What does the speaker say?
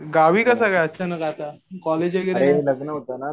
गावी कसाकाय अचानक आता? कोलेज वगैरे